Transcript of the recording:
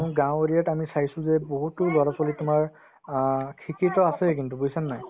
গাঁৱ area ত আমি চাইছো যে বহুতো ল'ৰা-ছোৱালী তোমাৰ অ শিক্ষিত আছে কিন্তু বুজিছানে নাই